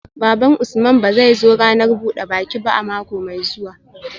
Baban Usman ba zai zo ranar buda baki ba mako mai zuwa